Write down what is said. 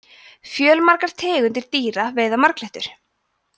fjölmargar tegundir dýra veiða marglyttur